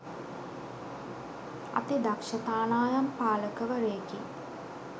අති දක්ෂ තානායම් පාලකවරයෙකි